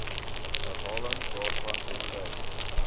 herhaling daarvan tensy